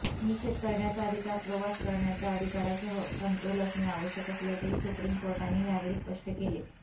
निषेध करण्याचा अधिकार प्रवास करण्याच्या अधिकारासह समतोल असणे आवश्यक असल्याचेही सुप्रीम कोर्टाने यावेळी स्पष्ट केले